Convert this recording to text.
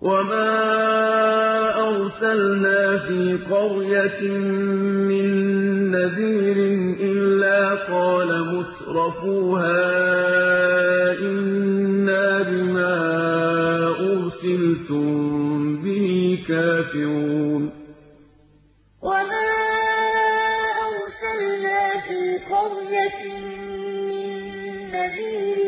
وَمَا أَرْسَلْنَا فِي قَرْيَةٍ مِّن نَّذِيرٍ إِلَّا قَالَ مُتْرَفُوهَا إِنَّا بِمَا أُرْسِلْتُم بِهِ كَافِرُونَ وَمَا أَرْسَلْنَا فِي قَرْيَةٍ مِّن نَّذِيرٍ